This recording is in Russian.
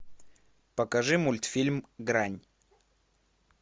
покажи мультфильм грань